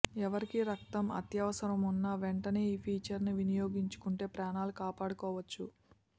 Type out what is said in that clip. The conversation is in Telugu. ఎవరికి రక్తం అత్యవసరమున్నా వెంటనే ఈ ఫీచర్ను వినియోగించుకుంటే ప్రాణాలు కాపాడుకోవచ్చు